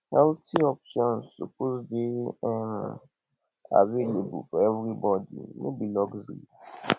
healthy options suppose dey um available for everybody no be luxury